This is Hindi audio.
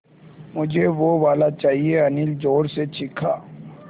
मझे वो वाला चाहिए अनिल ज़ोर से चीख़ा